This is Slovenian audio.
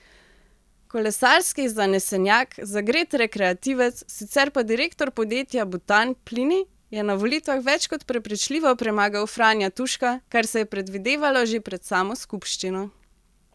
Kolesarski zanesenjak, zagret rekreativec, sicer pa direktor podjetja Butan Plini, je na volitvah več kot prepričljivo premagal Franja Tuška, kar se je predvidevalo že pred samo skupščino.